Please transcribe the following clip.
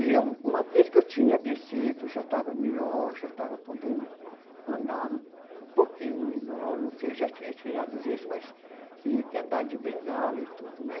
E eu, uma vez que eu tinha descido, já estava melhor, já estava podendo andar um pouquinho melhor, não sei, já tinha tirado o gesso, mas tinha que andar de bengala e tudo, né?